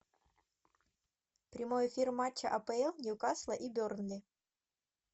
прямой эфир матча апл ньюкасла и бернли